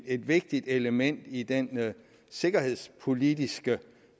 et vigtigt element i den sikkerhedspolitiske